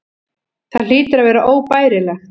Það hlýtur að vera óbærilegt.